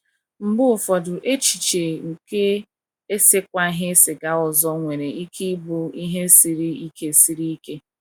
Mgbe ụfọdụ echiche nke esekwaghị siga ọzọ nwere ike ịbụ ihe siri ike siri ike.